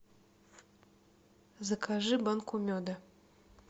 закажи банку меда